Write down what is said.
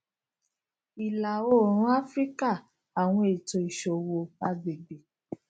ilaoorun afirika awọn eto iṣowo agbegbe